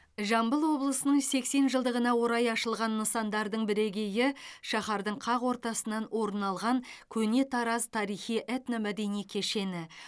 жамбыл облысының сексен жылдығына орай ашылған нысандардың бірегейі шаһардың қақ ортасынан орын алған көне тараз тарихи этномәдени кешені